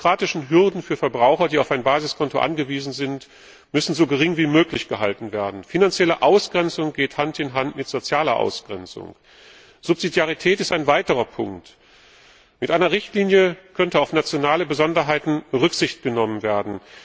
Die bürokratischen Hürden für Verbraucher, die auf ein Basiskonto angewiesen sind, müssen so gering wie möglich gehalten werden. Finanzielle Ausgrenzung geht Hand in Hand mit sozialer Ausgrenzung. Subsidiarität ist ein weiterer Punkt. Mit einer Richtlinie könnte auf nationale Besonderheiten Rücksicht genommen werden.